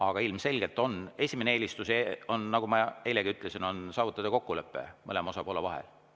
Aga ilmselgelt esimene eelistus, nagu ma eilegi ütlesin, on saavutada kokkulepe mõlema osapoole vahel.